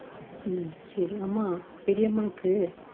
உம் சரி அம்மா பெரியம்மாக்கு